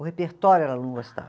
O repertório ela não gostava.